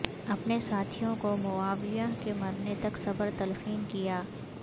اپنے ساتھیوں کو معاویہ کے مرنے تک صبر تلقین کیا